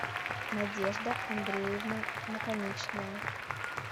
надежда андреевна наконечная